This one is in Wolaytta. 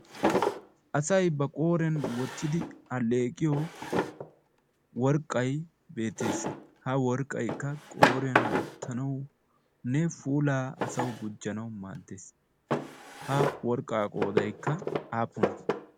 Asay ba qooriyaan wottidi alleeqiyoo worqqay beettees. ha worqqaykka qooriyaan wottanawunne puulaa asaw gujjanaw maadees. ha worqqa qoodaykka apuunne?